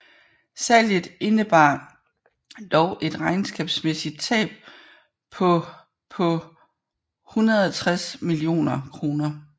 Salget indebar dog et regnskabsmæssigt tab på på 160 millioner kroner